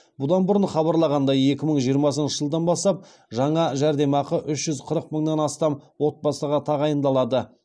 бұдан бұрын хабарланғандай екі мың жиырмасыншы жылдан бастап жаңа жәрдемақы үш жүз қырық мыңнан астам отбасыға тағайындалады